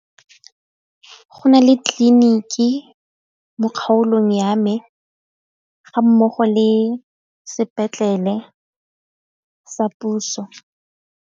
Go na le tleliniki mo kgaolong ya me ga mmogo le sepetlele sa puso.